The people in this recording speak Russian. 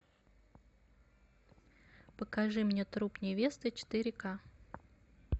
покажи мне труп невесты четыре ка